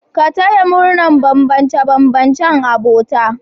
Ka taya murnar bambance-bambancen abota